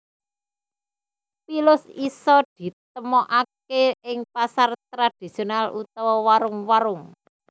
Pilus isa ditemokake ing pasar tradhisional utawa warung warung